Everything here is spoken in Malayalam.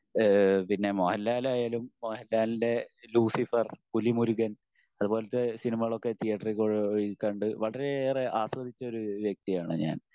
പിന്നെ മോഹൻലാൽ ആയാലും മോഹൻലാലിൻ്റെ ലൂസിഫർ പുലിമുരുഖൻ അതുപോലത്തെ സിനിമകൾ ഒക്കെ തീയറ്ററിൽ പോയി കണ്ട് വളരെയേറെ ആസ്വദിച്ചൊരു വ്യക്തിയാണ് ഞാൻ.